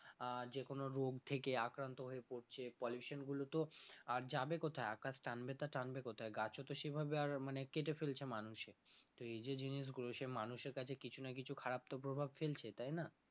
আহ যেকোনো রোগ থেকে আক্রান্ত হয়ে পড়ছে pollution গুলোতো আর যাবে কোথায় আকাশ টানবে তো টানবে কোথায় গাছে তো সেভাবে আর মানে কেটে ফেলছে মানুষে তো এই যে জিনিসগুলো সে মানুষের কাছে কিছু না কিছু খারাপ তো প্রভাব ফেলছে তাই না?